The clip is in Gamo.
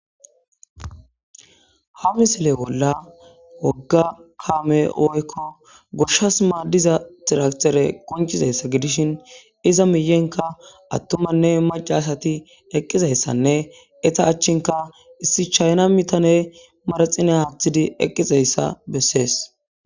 Ha misile bola woga kamey woykko goshas madizza tiraktere gidishin eta matta macati eqizayssanne issi chaynna biyanry manxire wothidi eqizzayssa besees.